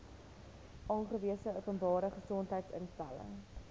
aangewese openbare gesondheidsinstelling